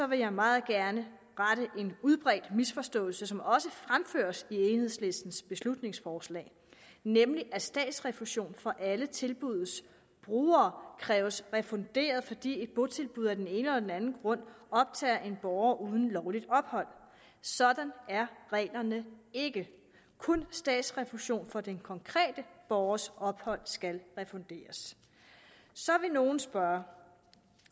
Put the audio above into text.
vil jeg meget gerne rette en udbredt misforståelse som også fremføres i enhedslistens beslutningsforslag nemlig at statsrefusion for alle tilbuddets brugere kræves refunderet fordi et botilbud af den ene eller den anden grund optager en borger uden lovligt ophold sådan er reglerne ikke kun statsrefusion for den konkrete borgers ophold skal refunderes så vil nogen spørge